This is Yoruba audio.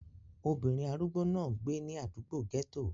Obìnrin arúgbó náà gbé ní àdúgbò gẹ́tò